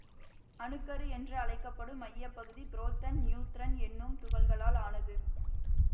அணு கரு என்று அழைக்க படும் மையப்பகுதி புரோத்தன் நியூத்திரன் என்னும் துகள்களால் ஆனது